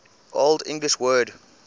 old english word